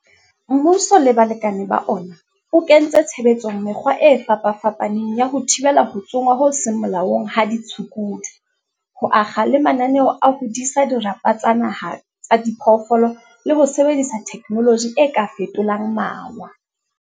Mmuso le balekane ba ona, o kentse tshebetsong mekgwa e fapafapaneng ya ho thibela ho tsongwa ho seng molaong ha ditshukudu, ho akga le mananeo a ho disa dirapa tsa naha tsa diphoofolo le ho sebedisa thekenoloji e ka fetolang mawa.